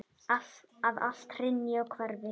Að allt hrynji og hverfi.